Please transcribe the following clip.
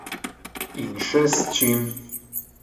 In še s čim.